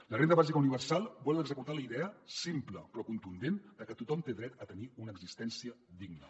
la renda bàsica universal vol executar la idea simple però contundent que tothom té dret a tenir una existència digna